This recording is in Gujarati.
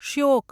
શ્યોક